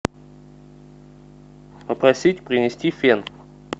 попросить принести фен